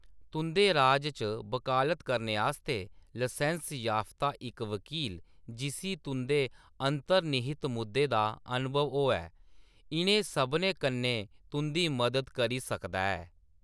तुं’दे राज च बकालत करने आस्तै लसैंस्स याफ्ता इक वकील, जिस्सी तुं’दे अंतर्निहित मुद्दें दा अनुभव होऐ, इ’नें सभनें कन्नै तुं’दी मदद करी सकदा ऐ।